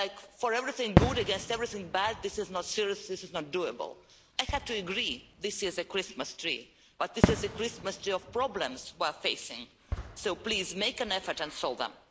For everything good against everything bad, this is not serious and this is not doable. I have to agree that this is a Christmas tree, but this is a Christmas tree of problems we are facing. So please make an effort and solve them.